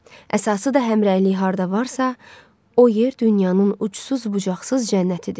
Əsası da həmrəylik harda varsa, o yer dünyanın uçsuz bucaqsız cənnətidir.